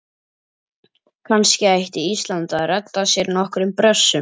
Kannski ætti Ísland að redda sér nokkrum Brössum?